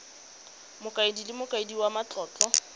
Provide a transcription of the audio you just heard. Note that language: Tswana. mokaedi le mokaedi wa matlotlo